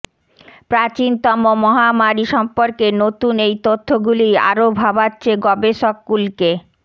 প্রাচীনতম মহামারি সম্পর্কে নতুন এই তথ্য গুলিই আরও ভাবাচ্ছে গবেষককুলকে